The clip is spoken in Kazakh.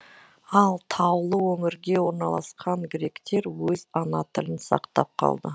ал таулы өңірге орналасқан гректер өз ана тілін сақтап қалды